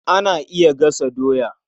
Ana iya gasa doya.